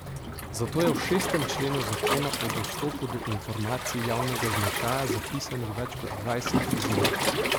Zato je v šestem členu zakona o dostopu do informacij javnega značaja zapisanih več kot dvajset izjem.